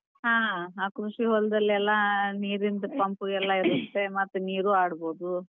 ಹಾ ಆ ಖುಷಿ ಹೊಲದಲ್ಲೆಲ್ಲಾ ನೀರಿಂದ್ pump ಎಲ್ಲಾ ಇರುತ್ತೆ ಮತ್ ನೀರು ಆಡಬೋದು.